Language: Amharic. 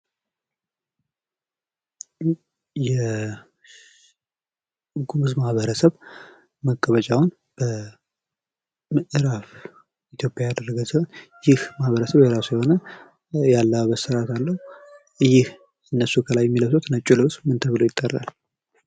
የጉምዝ ማህበረሰብ መቀመጫውን በምዕራብ ኢትዮጵያ ያደረገ ሲሆን ይህ ማህበረሰብ የራሱ የሆነ የአለባበስ ስርዓት አለው ። ይህ እነሱ ከላይ የሚለብሱት ነጩ ልብስ ምን ተብሎ ይጠራል ?